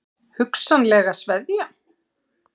Hugsanlega sveðja?